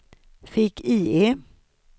fick-IE